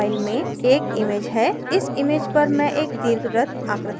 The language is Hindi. इस image पर मैं एक दीर्घवृत्त आकृति बनाऊंगी